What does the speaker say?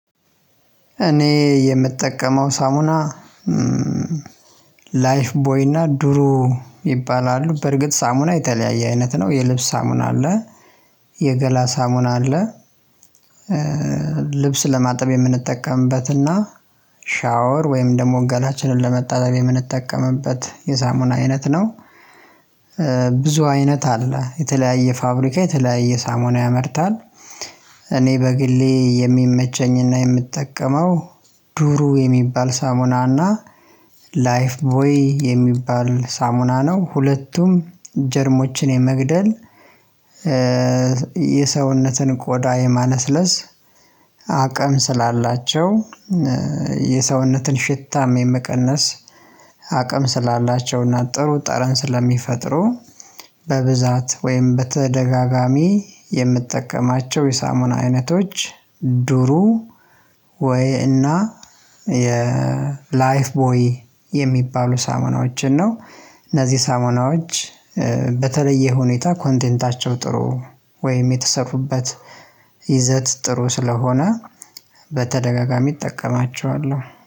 እኔ የምጠቀመው ሳሙና ላይፍ ቦይ እና ዱሩ ይባላሉ። በርግጥ ሳሙና የተለያየ አይነት ነው የልብስ ሳሙና አለ የገላ ሳሙና አለ። ልብስ ለማጠብ የምንጠቀምበትና ሻወር ወይም ደግሞ ገላችንን ለመታጠብ የምንጠቀምበት የሳሙና አይነት ነው። ብዙ አይነት አለ የተለያየ ፋብሪካ የተለያየ ሳሞና ያመርታል። እኔ በግሌ የሚመቸኝና የምጠቀመው ዱሩ የሚባል ሳሙና እና ላይፍ ቦይ የሚባል ሳሙና ነው። ሁለቱም ጀርሞችን የመግደል የሰውነትን ቆዳ የማለስለስ አቅም ስላላቸው የሰውነትን ሽታም የመቀነስ አቅም ስላላቸውና ጥሩ ጠረን ስለሚፈጥሩ በብዛት ወይም በተደጋጋሚ የምጠቀማቸው የሳሙና አይነቶች። ዱሩ ወይ እና የ ላይፍ ቦይ የሚባሉ ሳሞናዎችን ነው። እነዚህ ሳሙናዎች በተለየ ሁኔታ ኮንቴንታቸው ጥሩ ወይም የተሰሩበት ይዘት ጥሩ ስለሆነ በተደጋጋሚ እጠቀማቸዋለሁ